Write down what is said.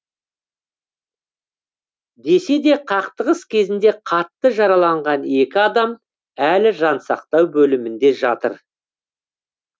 десе де қақтығыс кезінде қатты жараланған екі адам әлі жансақтау бөлімінде жатыр